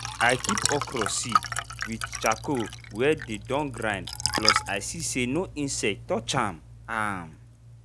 i keep okra seed with charcoal wey dey don grind plus i see say no insect touch ahm. ahm.